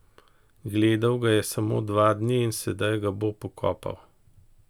Gledal ga je samo dva dni in sedaj ga bo pokopal!